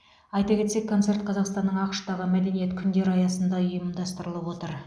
айта кетсек концерт қазақстанның ақш тағы мәдениет күндері аясында ұйымдастырылып отыр